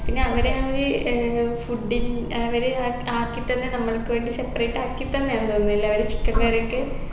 പിന്നെ അവിടെ അവര് ഏർ food ഇൻ അവര് ആക് ആക്കിത്തന്നെ നമ്മൾക്ക് വേണ്ടി separate ആക്കിത്തന്നെന്ന് തോന്നുന്നെല്ലേ അവര് chicken curry ഒക്കെ